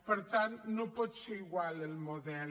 per tant no pot ser igual el model